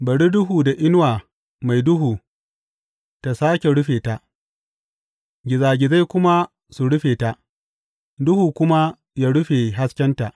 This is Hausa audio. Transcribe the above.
Bari duhu da inuwa mai duhu ta sāke rufe ta; gizagizai kuma su rufe ta; duhu kuma ya rufe haskenta.